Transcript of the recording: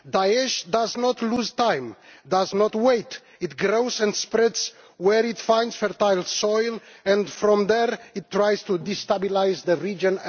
Daesh does not lose time, it does not wait, it grows and spreads where it finds fertile soil and from there it tries to destabilise the region.